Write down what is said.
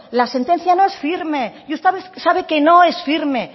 la sentencia no es firme y usted sabe que no es firme